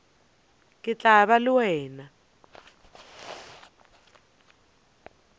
ke tla ba le wena